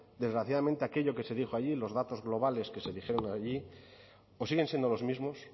desgraciadamente aquello que se dijo allí y los datos globales que se dijeron allí o siguen siendo los mismos